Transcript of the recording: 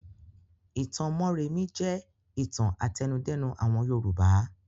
Ìtàn Mórèmí jẹ́ ìtàn àtẹnudẹ́nu àwọn Yorùbá.